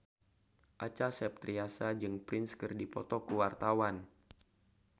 Acha Septriasa jeung Prince keur dipoto ku wartawan